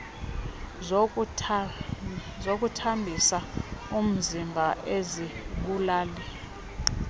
zokuthambisa umziba izibulali